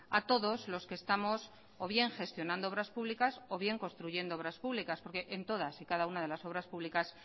a todos los que estamos o bien gestionando obras públicas o bien construyendo obras públicas porque en todas y cada una de las obras públicas